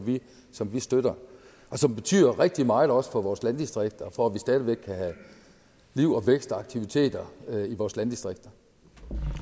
som vi støtter og som betyder rigtig meget også for vores landdistrikter for at vi stadig væk kan have liv og vækst og aktiviteter i vores landdistrikter